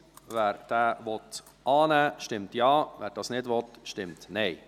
Wer diesen annehmen will, stimmt Ja, wer das nicht will, stimmt Nein.